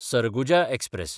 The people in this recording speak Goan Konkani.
सरगुजा एक्सप्रॅस